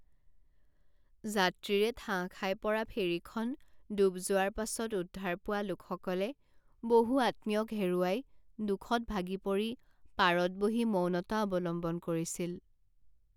যাত্ৰীৰে ঠাহ খাই পৰা ফেৰীখন ডুব যোৱাৰ পাছত উদ্ধাৰ পোৱা লোকসকলে বহু আত্মীয়ক হেৰুৱাই দুখত ভাগি পৰি পাৰত বহি মৌনতা অৱলম্বন কৰিছিল